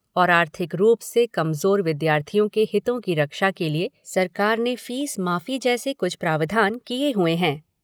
और आर्थिक रूप से कमज़ोर विद्यार्थियों के हितों की रक्षा के लिए सरकार ने फ़ीस माफ़ी जैसी कुछ प्रावधान किए हुए है।